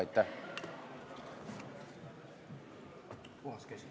Aitäh!